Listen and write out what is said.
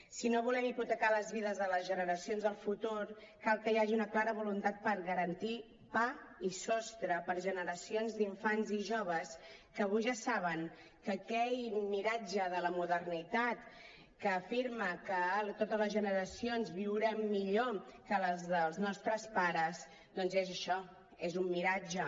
si no volem hipotecar les vides de les generacions del futur cal que hi hagi una clara voluntat per garantir pa i sostre per a generacions d’infants i joves que avui ja saben que aquell miratge de la modernitat que afirma que totes les generacions viurem millor que les dels nostres pares doncs és això és un miratge